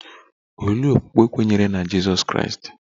Olee okpukpe kweere na Jizọs Kraịst?